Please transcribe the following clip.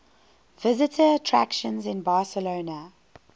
visitor attractions in barcelona